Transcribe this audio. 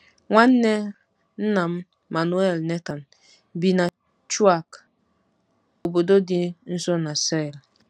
Nwanne nna m, Manuel Nathan, bi na Chauk, obodo dị nso na Sale.